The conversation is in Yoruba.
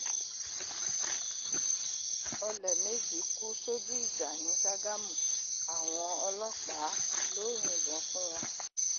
ọlẹ méjì kú sójú ìjà ni ṣàgámù àwọn ọlọpàá ló yìnbọn fún wọn